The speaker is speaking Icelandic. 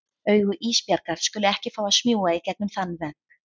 Augu Ísbjargar skulu ekki fá að smjúga í gegnum þann vegg.